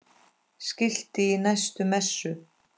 Skilti í næstu messu?